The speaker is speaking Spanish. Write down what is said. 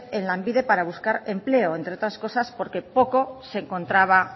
en lanbide para buscar empleo entre otras cosas porque poco se encontraba